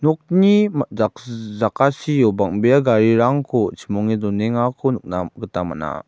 okni ma-jakjiji-jakasio bang·bea garirangko chimonge donengako nikna gita man·a.